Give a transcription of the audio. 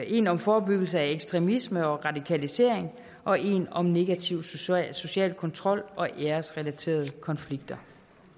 en om forebyggelse af ekstremisme og radikalisering og en om negativ social social kontrol og æresrelaterede konflikter